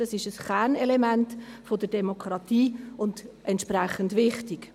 Dies ist ein Kernelement der Demokratie und entsprechend wichtig.